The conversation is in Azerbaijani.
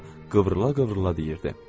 Marfa qıvrıla-qıvrıla deyirdi.